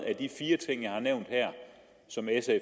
af de fire ting jeg har nævnt her som sf